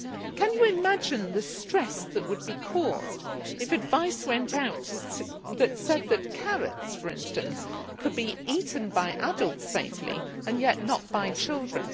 Can you imagine the stress that would be caused if advice went out that said that carrots, for instance, could be safely eaten by adults and yet not by children?